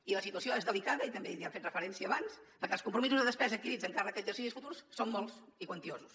i la situació és delicada i també hi han fet referència abans perquè els compromisos de despesa adquirits amb càrrec a exercicis futurs són molts i quantiosos